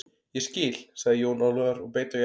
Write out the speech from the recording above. Ég skil, sagði Jón Ólafur og beit á jaxlinn.